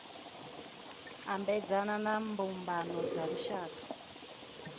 ambedzana na mbumbano dza lushaka